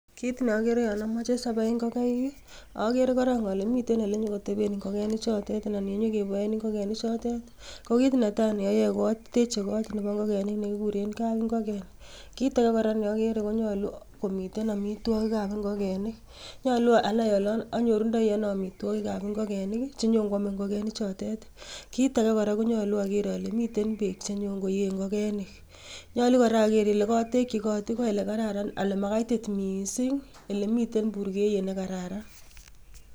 Kit neogere yon amoche sabai ingokaik agere korong alemiten ele nyon kotebeen ingokenichotet. Ko kit netai neoyoe ko ateche kot nebo ingokenik nekikuuren kap ingoken. Kit age neogere konyoolu komiten amitwoogik ab ingogenik ,nyolu anai ole anyooru ndoi ano amitwoogik ab ingokenik chenyon kwome ingokenichotet. Kitage kora neogere kora konyolu ageer ale miten beek chenyoon koyee ingokeni. Nyolu ogeer kora ole olekotekyii got ko olekararan olemakaitit missing ele mitten burgeiyet nekararan